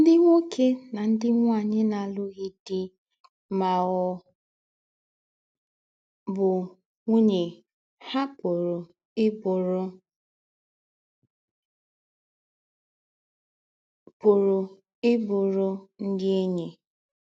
Ndị̀ nwókè na ndị̀ nwáńyì na-àlụ̀ghị̀ dì̄ má ọ̀ bụ́ nwúnye hà pụ̀rù í bùrù pụ̀rù í bùrù ndị̀ ényí